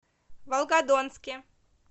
волгодонске